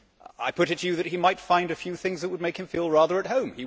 I put it to you that he might find a few things that would make him feel rather at home.